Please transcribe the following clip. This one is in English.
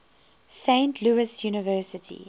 saint louis university